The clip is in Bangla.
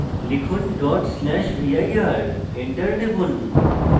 লিখুন ডট স্ল্যাশ vir enter টিপুন